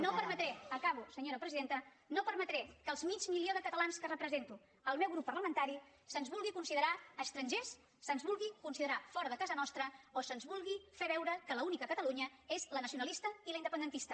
no permetré acabo senyora presidenta que al mig milió de catalans que representa el meu grup parlamentari se’ns vulgui considerar estrangers se’ns vulgui considerar fora de casa nostra o se’ns vulgui fer veure que l’única catalunya és la nacionalista i la independentista